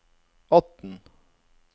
atten